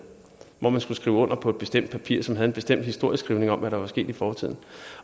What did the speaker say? hvor man skulle skrive under på et bestemt papir som havde en bestemt historieskrivning om hvad der var sket i fortiden